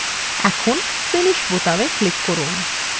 এখন finish বোতামে click করুন